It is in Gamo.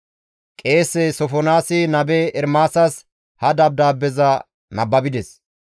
Qeese Sofonaasi nabe Ermaasas ha dabdaabbeza nababides.